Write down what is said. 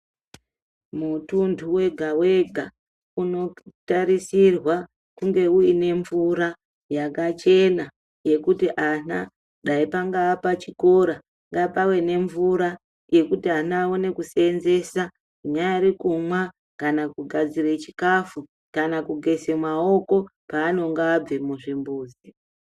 Mutuntu wega-wega unotarisirwa kunge uine mvura yakachena yekuti ana dai pangaa pachikora ngapave nemvura yekuti ana aone kuseenzesa inyari kumwa kana kugadzire chikafu kana kugeze maoko panenge abve muzvimbuzi.